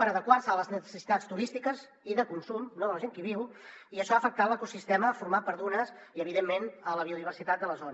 per adequar se a les necessitats turístiques i de consum no de la gent que hi viu i això ha afectat l’ecosistema format per dunes i evidentment la biodiversitat de la zona